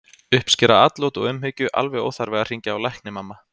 Uppskera atlot og umhyggju alveg óþarfi að hringja á lækni, mamma!